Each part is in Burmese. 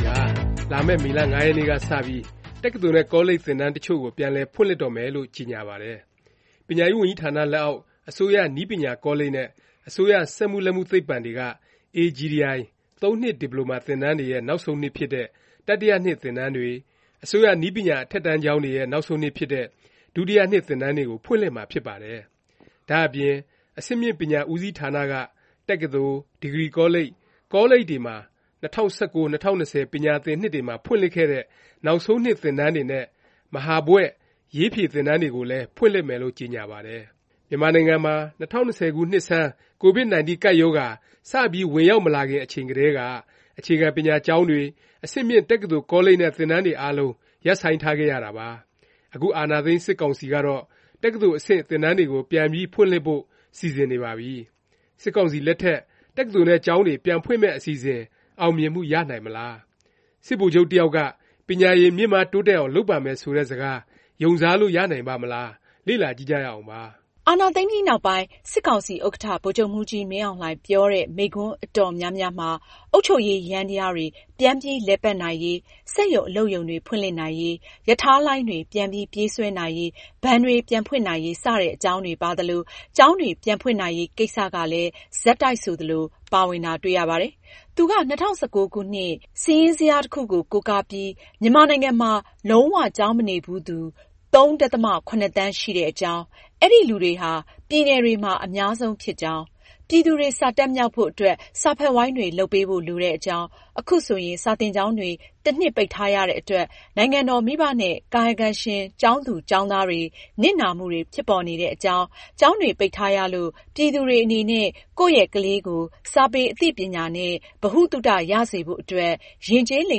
ီဟာ လာမယ့် မေလ ၅ ရက်နေ့ကစပြီး တက္ကသိုလ်နဲ့ ကောလိပ် သင်တန်းတစ်ချို့ကို ပြန်လည်ဖွင့်လှစ်တော့မယ်လို့ ကြေညာပါတယ်။ ပညာရေးဝန်ကြီးဌာန လက်အောက် အစိုးရ နည်းပညာကောလိပ်နဲ့ အစိုးရ စက်မှုလက်မှု သိပ္ပံတွေက AGTI ၃ နှစ် ဒီပလိုမာ သင်တန်းတွေရဲ့ နောက်ဆုံးနှစ်ဖြစ်တဲ့ တတိယနှစ် သင်တန်းတွေ၊ အစိုးရ နည်းပညာ အထက်တန်းကျောင်းတွေရဲ့ နောက်ဆုံးနှစ်ဖြစ်တဲ့ ဒုတိယနှစ် သင်တန်းတွေကို ဖွင့်လှစ်မှာ ဖြစ်ပါတယ်။ ဒါ့အပြင် အဆင့်မြင့် ပညာဦးစီးဌာနက တက္ကသိုလ်၊ ဒီဂရီကောလိပ်၊ ကောလိပ်တွေမှာ ၂၀၁၉-၂၀၂၀ ပညာသင်နှစ်တွေမှာ ဖွင့်လှစ်ခဲ့တဲ့ နောက်ဆုံးနှစ် သင်တန်းတွေနဲ့ မဟာဘွဲ့ (ရေးဖြေ) သင်တန်းတွေကိုလည်း ဖွင့်လှစ်မယ်လို့ ကြေညာပါတယ်။ မြန်မာနိုင်ငံမှာ ၂၀၂၀ ပြည့် နှစ်ဆန်း Covid-19 ကပ်ရောဂါ စပြီး ဝင်ရောက်မလာခင် အချိန်ကတည်းက အခြေခံပညာကျောင်းတွေ၊ အဆင့်မြင့် တက္ကသိုလ် ကောလိပ်တွေနဲ့ သင်တန်းတွေအားလုံး ရပ်ဆိုင်းထားခဲ့ရတာပါ။ အခု အာဏာသိမ်း စစ်ကောင်စီကတော့ တက္ကသိုလ်အဆင့် သင်တန်းတွေကို ပြန်ပြီးဖွင့်လှစ်ဖို့ စီစဉ်နေပါပြီ။ စစ်ကောင်စီလက်ထက် တက္ကသိုလ်နဲ့ ကျောင်းတွေ ပြန်ဖွင့်မယ့် အစီအစဉ် အောင်မြင်မှု ရနိုင်မလား၊ စစ်ဗိုလ်ချုပ်တစ်ယောက်က ပညာရည် မြင့်မားတိုးတက်အောင် လုပ်ပါမယ် ဆိုတဲ့ စကား ယုံစားလို့ ရနိုင်ပါ့မလား၊ လေ့လာကြည့်ကြရအောင်ပါ။ အာဏာသိမ်းပြီးနောက်ပိုင်း စစ်ကောင်စီ ဥက္ကဌ ဗိုလ်ချုပ်မှူးကြီး မင်းအောင်လှိုင် ပြောတဲ့ မိန့်ခွန်း အတော်များများမှာ အုပ်ချုပ်ရေးယန္တယားတွေ ပြန်ပြီး လည်ပတ်နိုင်ရေး၊ စက်ရုံ အလုပ်ရုံတွေ ဖွင့်လှစ်နိုင်ရေး၊ ရထားလိုင်းတွေ ပြန်ပြီး ပြေးဆွဲနိုင်ရေး၊ ဘဏ်တွေ ပြန်ဖွင့်နိုင်ရေး စတဲ့ အကြောင်းတွေ ပါသလို၊ ကျောင်းတွေ ပြန်ဖွင့်နိုင်ရေး ကိစ္စကလည်း ဆက်တိုက်ဆိုသလို ပါဝင်တာ တွေ့ရပါတယ်။ သူက ၂၀၁၉ ခုနှစ် စာရင်းဇယားတစ်ခုကို ကိုးကားပြီး မြန်မာနိုင်ငံမှာ လုံး၀ ကျောင်းမနေဘူးသူ ၃ ဒသမ ၇ သန်းရှိတဲ့အကြောင်း၊ အဲဒီလူတွေဟာ ပြည်နယ်တွေမှာ အများဆုံးဖြစ်ကြောင်း၊ ပြည်သူတွေ စာတတ်မြောက်ဖို့အတွက် စာဖတ်ဝိုင်းတွေ လုပ်ပေးဖို့ လိုတဲ့အကြောင်း၊ ခုဆိုရင် စာသင်ကျောင်းတွေ တစ်နှစ် ပိတ်ထားရတဲ့အတွက် နိုင်ငံတော်၊ မိဘနဲ့ ကာယကံရှင် ကျောင်းသားကျောင်းသူတွေ နစ်နာမှုတွေ ဖြစ်ပေါ်နေတဲ့အကြောင်း၊ ကျောင်းတွေ ပိတ်ထားရလို့ ပြည်သူတွေ အနေနဲ့ ကိုယ့်ရဲ့ကလေးကို စာပေ အသိပညာနဲ့ ဗဟုသုတ ရစေဖို့အတွက် ယဉ်ကျေးလိ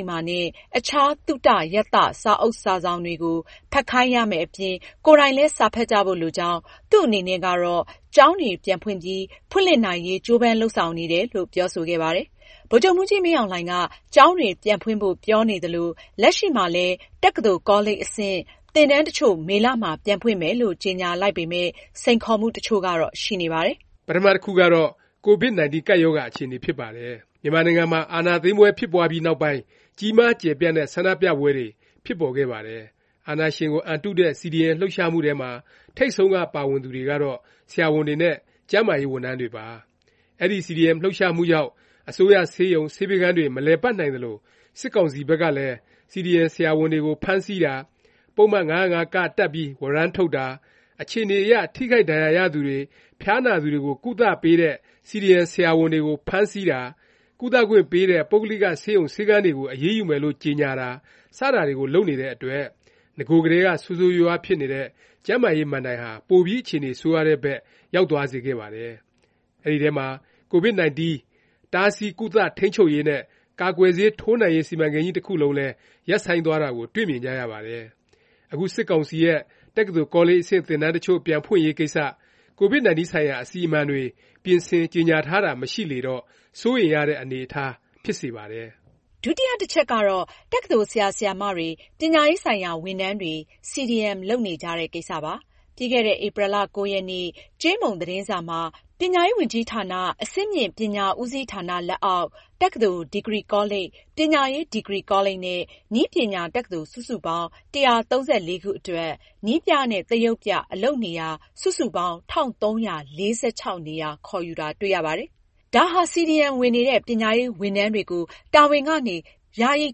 မ္မာနဲ့ အခြား သုတ ရသ စာအုပ်စာစောင်တွေကို ဖတ်ခိုင်းရမယ့်အပြင် ကိုယ်တိုင်လည်း စာဖတ်ကြဖို့ လိုကြောင်း၊ သူ့အနေနဲ့ကတော့ ကျောင်းတွေ ပြန်ပြီး ဖွင့်လှစ်နိုင်ရေး ကြိုးပမ်းလုပ်ဆောင်နေတယ်လို့ ပြောဆိုခဲ့ပါတယ်။ ဗိုလ်ချုပ်မှူးကြီး မင်းအောင်လှိုင်က ကျောင်းတွေ ပြန်ဖွင့်ဖို့ပြောနေသလို လက်ရှိမှာလည်း တက္ကသိုလ် ကောလိပ် အဆင့် သင်တန်းတစ်ချို့ မေလမှာ ပြန်ဖွင့်မယ်လို့ ကြေညာလိုက်ပေမယ့် စိန်ခေါ်မှု တစ်ချို့ကတော့ ရှိနေပါတယ်။ ပထမ တခုကတော့ Covid-19 ကပ်ရောဂါ အခြေအနေ ဖြစ်ပါတယ်။ မြန်မာနိုင်ငံမှာ အာဏာသိမ်းပွဲဖြစ်ပွားပြီးနောက်ပိုင်း ကြီးမား ကျယ်ပြန့်တဲ့ ဆန္ဒပြပွဲတွေ ဖြစ်ပေါ်ခဲ့ပါတယ်။ အာဏာရှင်ကို အန်တုတဲ့ CDM လှုပ်ရှားမှုထဲမှာ ထိပ်ဆုံးက ပါဝင်သူတွေကတော့ ဆရာဝန်တွေနဲ့ ကျန်းမာရေးဝန်ထမ်းတွေပါ။ အဲဒီ CDM လှုပ်ရှားမှုကြောင့် အစိုးရဆေးရုံ၊ ဆေးပေးခန်းတွေ မလည်ပတ်နိုင်သလို၊ စစ်ကောင်စီ ဘက်ကလည်း CDM ဆရာဝန်တွေကို ဖမ်းဆီးတာ၊ ပုဒ်မ ၅၀၅(က) တပ်ပြီး ဝရမ်းထုတ်တာ၊ အခြေအနေအရ ထိခိုက်ဒဏ်ရာရသူတွေ၊ ဖျားနာသူတွေကို ကုသပေးတဲ့ CDM ဆရာဝန်တွေကို ဖမ်းဆီးတာ၊ ကုသခွင့်ပေးတဲ့ ပုဂ္ဂလိက ဆေးရုံ ဆေးခန်းတွေကို အရေးယူမယ်လို့ ကြေညာတာ စတာတွေကို လုပ်နေတဲ့အတွက် နဂိုကတည်းက ဆိုးဆိုးရွားရွားဖြစ်နေတဲ့ ကျန်းမာရေး မဏ္ဍိုင်ဟာ ပိုပြီး အခြေအနေ ဆိုးရွားတဲ့ဘက် ရောက်သွားစေခဲ့ပါတယ်။ အဲဒီထဲမှာ Covid-19 တားဆီး၊ ကုသ၊ ထိန်းချုပ်ရေးနဲ့ ကာကွယ်ဆေး ထိုးနှံရေး စီမံကိန်းကြီး တစ်ခုလုံးလည်း ရပ်ဆိုင်းသွားတာကို တွေ့မြင်ကြရပါတယ်။ အခု စစ်ကောင်စီရဲ့ တက္ကသိုလ် ကောလိပ် အဆင့် သင်တန်းတစ်ချို့ ပြန်ဖွင့်ရေးကိစ္စ Covid-19 ဆိုင်ရာ အစီအမံတွေ ပြင်ဆင်၊ ကြေညာ ထားတာ မရှိလေတော့ စိုးရိမ်ရတဲ့ အနေအထား ဖြစ်စေပါတယ်။ ဒုတိယ တစ်ချက်ကတော့ တက္ကသိုလ် ဆရာဆရာမတွေ၊ ပညာရေးဆိုင်ရာ ဝန်ထမ်းတွေ CDM လုပ်နေကြတဲ့ ကိစ္စပါ။ ပြီးခဲ့တဲ့ ဧပြီ ၉ ရက်နေ့ ကြေးမုံ သတင်းစာမှာ ပညာရေးဝန်ကြီးဌာန အဆင့်မြင့် ပညာဦးစီးဌာန လက်အောက် တက္ကသိုလ်၊ ဒီဂရီကောလိပ်၊ ပညာရေး ဒီဂရီကောလိပ်နဲ့ နည်းပညာတက္ကသိုလ် စုစုပေါင်း ၁၃၄ ခုအတွက် နည်းပြနဲ့ သရုပ်ပြ အလုပ်နေရာ စုစုပေါင်း ၁၃၄၆ နေရာ ခေါ်ယူတာ တွေ့ရပါတယ်။ ဒါဟာ CDM ဝင်နေတဲ့ ပညာရေး ဝန်ထမ်းတွေကို တာဝန်ကနေ ယာယီ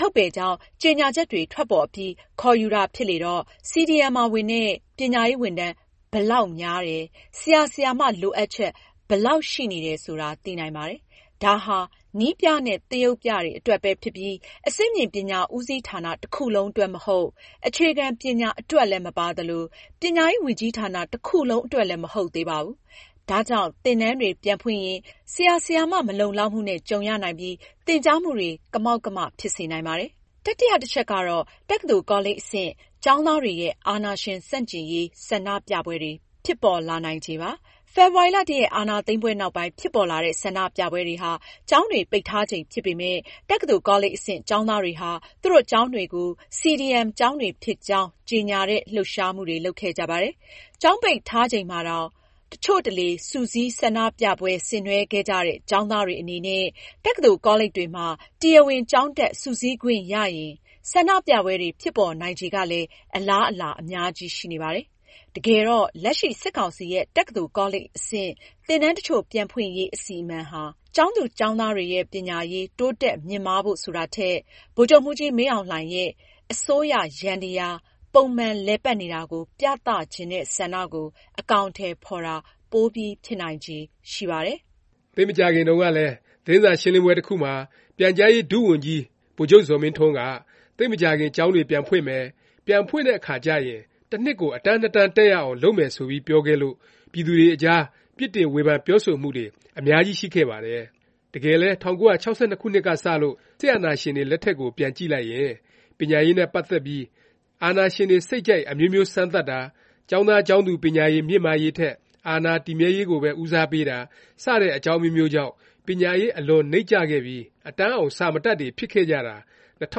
ထုတ်ပယ်ကြောင်း ကြေညာချက်တွေ ထွက်ပေါ်အပြီး ခေါ်ယူတာ ဖြစ်လေတော့ CDM ဝင်တဲ့ ပညာရေးဝန်ထမ်း ဘယ်လောက်များတယ်၊ ဆရာ၊ ဆရာမ လိုအပ်ချက် ဘယ်လောက် ရှိနေတယ် ဆိုတာ သိနိုင်ပါတယ်။ ဒါဟာ နည်းပြနဲ့ သရုပ်ပြတွေ အတွက်ပဲဖြစ်ပြီး အဆင့်မြင့်ပညာ ဦးစီးဌာန တစ်ခုလုံး အတွက် မဟုတ်၊ အခြေခံ ပညာအတွက်လည်း မပါသလို၊ ပညာရေး ဝန်ကြီးဌာန တစ်ခုလုံး အတွက်လည်း မဟုတ်သေးပါဘူး။ ဒါကြောင့် သင်တန်းတွေ ပြန်ဖွင့်ရင် ဆရာ၊ ဆရာမ မလုံလောက်မှုနဲ့ ကြုံရနိုင်ပြီး သင်ကြားမှုတွေ ကမောက်ကမ ဖြစ်စေနိုင်ပါတယ်။ တတိယ တစ်ချက်ကတော့ တက္ကသိုလ် ကောလိပ် အဆင့် ကျောင်းသားတွေရဲ့ အာဏာရှင် ဆန့်ကျင်ရေး ဆန္ဒပြပွဲတွေ ဖြစ်ပေါ်လာနိုင်ချေပါ။ ဖေဖေါ်ဝါရီ ၁ ရက် အာဏာသိမ်းပွဲ နောက်ပိုင်း ဖြစ်ပေါ်လာတဲ့ ဆန္ဒပြပွဲတွေဟာ ကျောင်းတွေ ပိတ်ထားချိန်ဖြစ်ပေမယ့် တက္ကသိုလ် ကောလိပ် အဆင့် ကျောင်းသားတွေဟာ သူတို့ ကျောင်းတွေကို CDM ကျောင်းတွေဖြစ်ကြောင်း ကြေညာတဲ့ လှုပ်ရှားမှုတွေ လုပ်ခဲ့ကြပါတယ်။ ကျောင်းပိတ်ထားချိန်မှာတောင် တစ်ချို့တလေ စုစည်း၊ ဆန္ဒပြပွဲ ဆင်နွဲှခဲ့ကြတဲ့ ကျောင်းသားတွေ အနေနဲ့ တက္ကသိုလ် ကောလိပ်တွေမှာ တရားဝင် ကျောင်းတက် စုစည်းခွင့်ရရင် ဆန္ဒပြပွဲတွေ ဖြစ်ပေါ်နိုင်ချေကလည်း အလားအလာ အများကြီး ရှိနေပါတယ်။ တကယ်တော့ လက်ရှိ စစ်ကောင်စီရဲ့ တက္ကသိုလ် ကောလိပ် အဆင့် သင်တန်းတစ်ချို့ ပြန်ဖွင့်ရေး အစီအမံဟာ ကျောင်းသူ ကျောင်းသားတွေရဲ့ ပညာရေး တိုးတက် မြင့်မားဖို့ ဆိုတာထက် ဗိုလ်ချုပ်မှူးကြီး မင်းအောင်လှိုင်ရဲ့ အစိုးရယန္တယား ပုံမှန် လည်ပတ်နေတာကို ပြသချင်တဲ့ ဆန္ဒကို အကောင်အထည် ဖော်တာ ပိုပြီး ဖြစ်နိုင်ချေ ရှိပါတယ်။ သိပ်မကြာခင်တုန်းကလည်း သတင်းစာရှင်းလင်းပွဲ တစ်ခုမှာ ပြန်ကြားရေး ဒုဝန်ကြီး ဗိုလ်ချုပ်ဇော်မင်းထွန်းက သိပ်မကြာခင် ကျောင်းတွေ ပြန်ဖွင့်မယ်၊ ပြန်ဖွင့်တဲ့အခါကျရင် တစ်နှစ်ကို အတန်း ၂ တန်း တက်ရအောင် လုပ်မယ် ဆိုပြီး ပြောခဲ့လို့ ပြည်သူတွေအကြား ပြစ်တင် ဝေဖန် ပြောဆိုမှုတွေ အများကြီး ရှိခဲ့ပါတယ်။ တကယ်လည်း ၁၉၆၂ ခုနှစ်ကစလို့ စစ်အာဏာရှင်တွေ လက်ထက်ကို ပြန်ကြည့်လိုက်ရင် ပညာရေးနဲ့ ပတ်သက်ပြီး အာဏာရှင်တွေ စိတ်ကြိုက် အမျိုးမျိုး စမ်းသပ်တာ၊ ကျောင်းသားကျောင်းသူ ပညာရည် မြင့်မားရေးထက် အာဏာတည်မြဲရေးကိုပဲ ဦးစားပေးတာ စတဲ့ အကြောင်းအမျိုးမျိုးကြောင့် ပညာရေး အလွန်နိမ့်ကျခဲ့ပြီး အတန်းအောင် စာမတတ်တွေ ဖြစ်ခဲ့ကြတာ ၂၀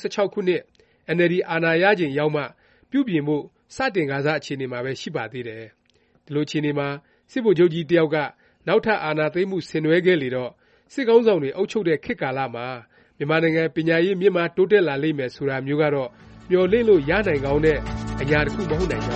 ၁၆ ခုနှစ် အင်န်အယ်လ်ဒီ အာဏာရချိန်ရောက်မှ ပြုပြင်ဖို့ စတင်ကာစ အခြေအနေမှာပဲ ရှိပါသေးတယ်။ ဒီလို အခြေအနေမှာ စစ်ဗိုလ်ချုပ်ကြီး တစ်ယောက်က နောက်ထပ် အာဏာသိမ်းမှု ဆင်နွဲှခဲ့လေတော့ စစ်ခေါင်းဆောင်တွေ အုပ်ချုပ်တဲ့ ခေတ်ကာလမှာ မြန်မာနိုင်ငံ ပညာရေး မြင့်မား တိုးတက်လာလိမ့်မယ် ဆိုတာမျိုးကတော့ မျှော်လင့်လို့ ရနိုင်ကောင်းတဲ့ အရာ တစ်ခု မဟုတ်နိုင်ကြ